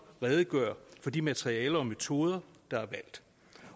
redegøre for de materialer og metoder der er valgt